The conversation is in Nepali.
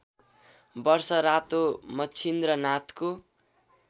वर्ष रातो मच्छिन्द्रनाथको